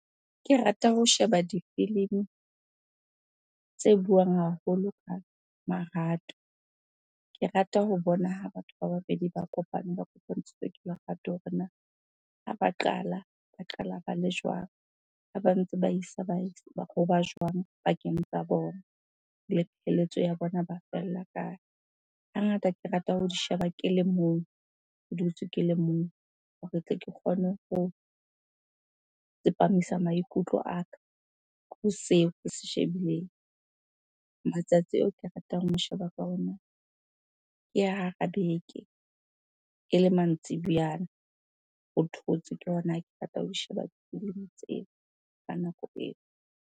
Ke rata ho sheba difilimi tse buang haholo ka marato. Ke rata ho bona ha batho ba babedi ba kopane, ba kopantshitswe ke lerato hore na ha ba qala, ba qala ba le jwang? Ha ba ntse ba isa jwang pakeng tsa bona. Le pheletso ya bona ba fella kae? Hangata, ke rata ho di sheba ke le mong, ke dutse ke le mong hore tle ke kgone ho tsepamisa maikutlo a ka ho seo ke se shebileng. Matsatsi ao ke ratang ho sheba ka ona ke hara beke, ele mantsibuyana, ho thotse. Ke hona ke ho sheba difilimi tseo ka nako eo.